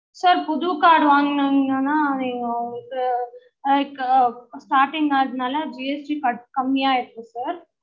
sir புது card வாங்குனிங்கனா அது உங்களுக்கு starting அதுனால GST க கம்மியா இருக்கும் sir